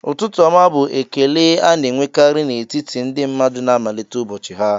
"Ụtụtụ ọma" bụ ekele a na-enwekarị n'etiti ndị mmadụ na-amalite ụbọchị ha